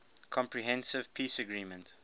comprehensive peace agreement